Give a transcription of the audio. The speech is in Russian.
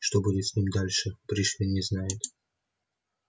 что будет с ним дальше пришвин не знает